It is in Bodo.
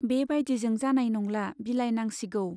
बे बाइदिजों जानाय नंला, बिलाइनांसिगौ।